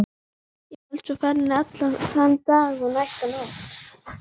Og hélt svo ferðinni allan þann dag og næstu nótt.